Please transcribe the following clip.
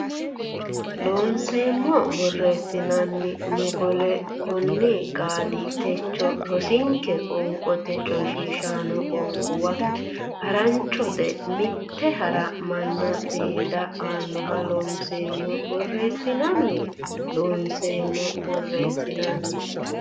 Looseemmo borreessinanni mogole konni qaali techo rosinke qoonqote coyshiishaano qoonquwa haranchote mitte hara manna seeda annoho Looseemmo borreessinanni Looseemmo borreessinanni.